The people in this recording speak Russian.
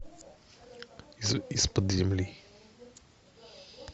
из под земли